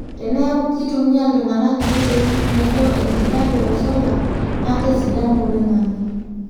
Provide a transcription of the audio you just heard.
teneeku keitumia iltugana ntokitin naijo enkijape o solar naa kesidanu oloingange